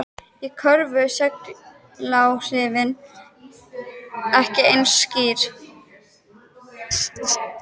Í Kröflu eru seguláhrifin ekki eins skýr.